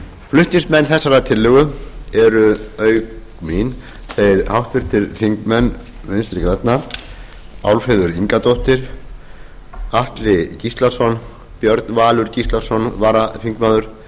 flutningsmenn þessarar tillögu eru auki mín þeir háttvirtir þingmenn vinstri grænna álfheiður ingadóttir atli gíslason björn valur gíslason varaþingmaður